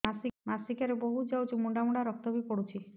ମାସିକିଆ ରେ ବହୁତ ଯାଉଛି ମୁଣ୍ଡା ମୁଣ୍ଡା ରକ୍ତ ବି ପଡୁଛି